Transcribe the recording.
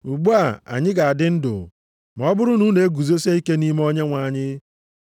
Ugbu a anyị ga-adị ndụ, ma ọ bụrụ na unu eguzosie ike nʼime Onyenwe anyị.